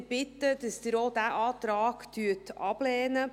Ich bitte Sie, auch diesen Antrag abzulehnen.